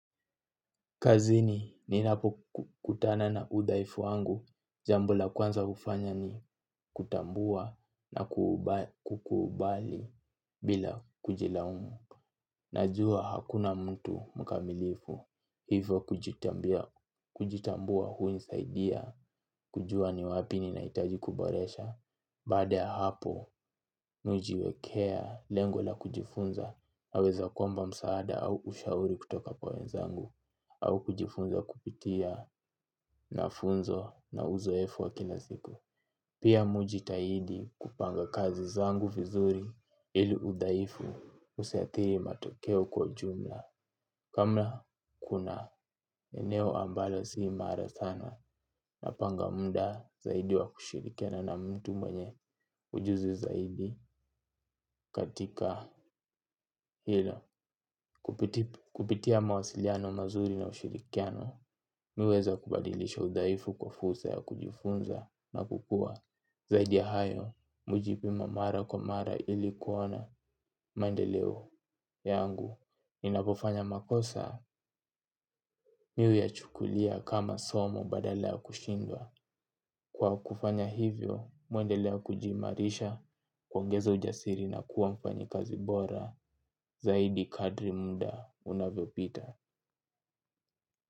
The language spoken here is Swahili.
Kazini, ninapokutana na udhaifu wangu, jambo la kwanza hufanya ni kutambua na kukubali bila kujilaumu. Najua hakuna mtu mkamilifu, hivyo kujitambua hunisaidia, kujua ni wapi ninahitaji kuboresha. Baada ya hapo, mi hujiwekea lengo la kujifunza, naweza kuomba msaada au ushauri kutoka kwa wenzangu, au kujifunza kupitia na funzo na uzoefu wa kila siku. Pia mi hujitahidi kupanga kazi zangu vizuri ili udhaifu usiathiri matokeo kwa jumla. Kama kuna eneo ambalo sii imara sana napanga muda zaidi wa kushirikiana na mtu mwenye ujuzi zaidi katika hilo. Kupitia mawasiliano mazuri na ushirikiano, mi huweza kubadilisha udhaifu kwa fursa ya kujifunza na kukua. Zaidi ya hayo, mu hujipima mara kwa mara ili kuona, maendeleo yangu. Ninapofanya makosa, mi huyachukulia kama somo badala ya kushindwa. Kwa kufanya hivyo, mi huendelea kujiimarisha kuongeza ujasiri na kuwa mfanyikazi bora. Zaidi kadri muda, unavyopita.